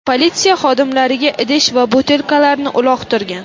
politsiya xodimlariga idish va butilkalarni uloqtirgan.